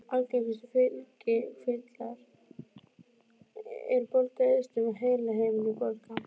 Algengustu fylgikvillar eru bólga í eistum og heilahimnubólga.